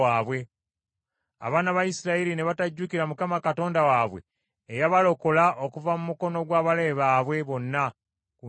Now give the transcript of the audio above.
Abaana ba Isirayiri ne batajjukira Mukama Katonda waabwe eyabalokola okuva mu mukono gw’abalabe baabwe bonna ku njuyi zonna.